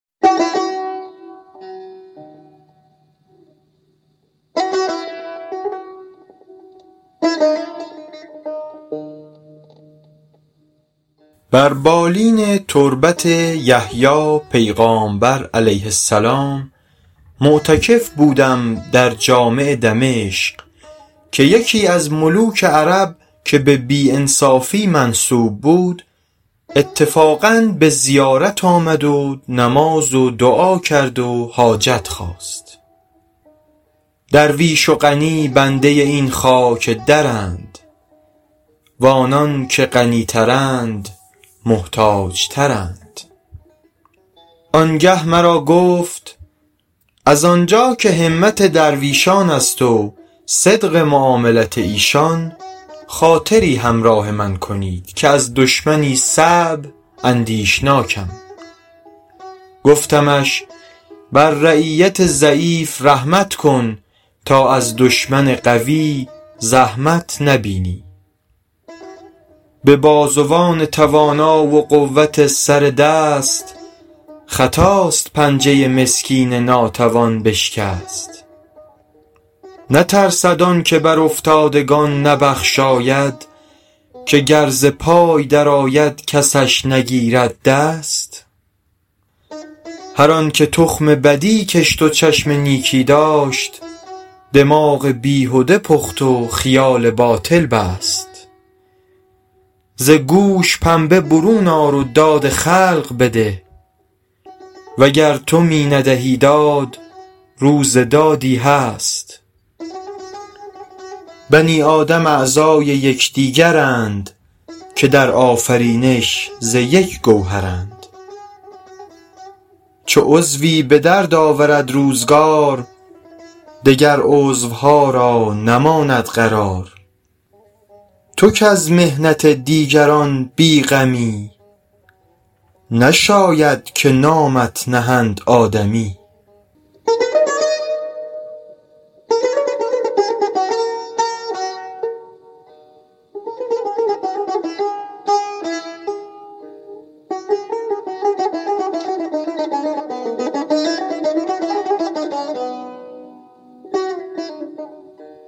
بر بالین تربت یحیی پیغامبر -علیه السلام- معتکف بودم در جامع دمشق که یکی از ملوک عرب که به بی انصافی منسوب بود اتفاقا به زیارت آمد و نماز و دعا کرد و حاجت خواست درویش و غنی بنده این خاک درند و آنان که غنی ترند محتاج ترند آن گه مرا گفت از آن جا که همت درویشان است و صدق معاملت ایشان خاطری همراه من کنید که از دشمنی صعب اندیشناکم گفتمش بر رعیت ضعیف رحمت کن تا از دشمن قوی زحمت نبینی به بازوان توانا و قوت سر دست خطاست پنجه مسکین ناتوان بشکست نترسد آن که بر افتادگان نبخشاید که گر ز پای در آید کسش نگیرد دست هر آن که تخم بدی کشت و چشم نیکی داشت دماغ بیهده پخت و خیال باطل بست ز گوش پنبه برون آر و داد خلق بده وگر تو می ندهی داد روز دادی هست بنی آدم اعضای یکدیگرند که در آفرینش ز یک گوهرند چو عضوی به درد آورد روزگار دگر عضوها را نماند قرار تو کز محنت دیگران بی غمی نشاید که نامت نهند آدمی